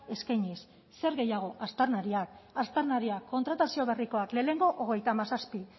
eskainiz zer gehiago aztarnariak aztarnariak kontratazio berrikoak lehenengo hogeita hamazazpi